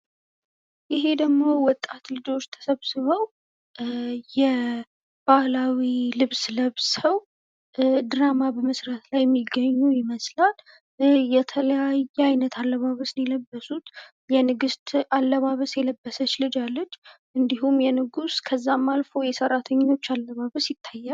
ይሄ ደግሞ ወጣት ልጆች ተሰብስበው የባህላዊ ልብስ ለብሰው ድራማ በመስራት ላይ የሚገኙ ይመስላል የተለያየ አይነት አለባበስ የለበሱት የንግስት አለባበስ የለበሰች ልጅ አለች። እንድሁም የንጉሥ ከዛም አልፎ የሰራተኞች አለባበስ ይታያል።